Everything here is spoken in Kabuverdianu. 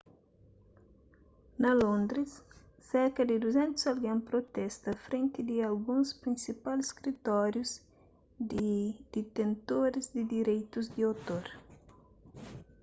na londres serka di 200 algen protesta frenti di alguns prinsipal skritórius di ditentoris di direitus di otor